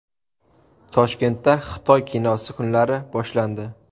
Toshkentda Xitoy kinosi kunlari boshlandi.